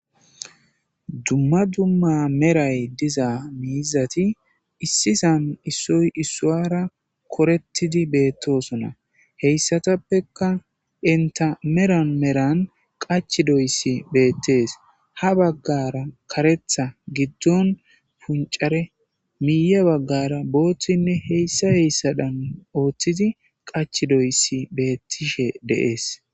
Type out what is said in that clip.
dumma dumma meray diza miizati issizan issoy issuara korettidi beettosona heyssatappeka enta meran meran qachdoyssi beettees ha baggara karetha giddon puncare miye baggara booththinne heyssa heyssadan ooththidi qach doyssi beettishe de'ees